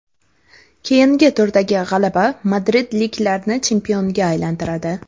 Keyingi turdagi g‘alaba madridliklarni chempionga aylantiradi.